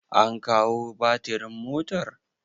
an kawo batirin motar!